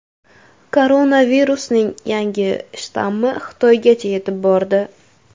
Koronavirusning yangi shtammi Xitoygacha yetib bordi.